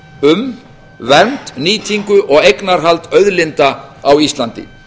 um vernd nýtingu og eignarhald auðlinda á íslandi